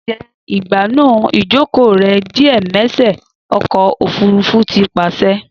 Dẹ igbanu ijoko rẹ diẸmẹṣẹ ọkọ ofurufu ti paṣẹ